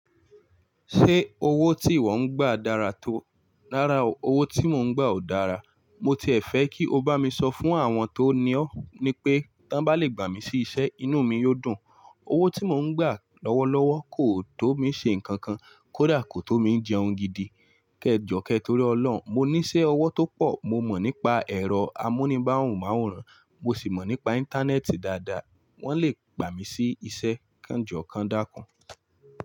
Ṣé owó tí ìwọ ń gba dára tó? Rárá o, owó tí mò ń gba ò dára. Mo tiẹ̀ fẹ́ kí o bá mi sọ fún àwọn tó ní ọ́ ni pé, tí wọ́n bá lè gbà mí sí iṣẹ́, inú mi yóò dùn. Owó tí mò ń gba lọ́wọ́lọ́wọ́ kò tó mi ṣe nǹkan kan, kódà kò tó mi jẹun gidi. Kẹ́ẹ̀jọ̀ kẹ́ torí Ọlọ́run, mo ní iṣẹ́ ọwọ́ tó pọ̀. Mo mọ̀ nípa ẹ̀rọ amúníbáhun máwòrán, mo sì mọ̀ nípa Íńtánẹ́ẹ̀tì dáadáa. Wọ́n lè gbà mí sí iṣẹ́ kanjọ̀kan dákun.